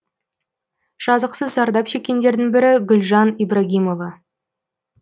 жазықсыз зардап шеккендердің бірі гүлжан ибрагимова